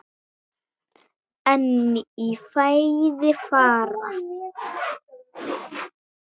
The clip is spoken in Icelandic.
En í fæði fara